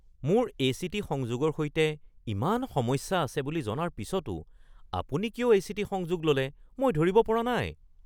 মোৰ এ.চি.টি. সংযোগৰ সৈতে ইমান সমস্যা আছে বুলি জনাৰ পিছতো আপুনি কিয় এ.চি.টি. সংযোগ ল’লে মই ধৰিব পৰা নাই।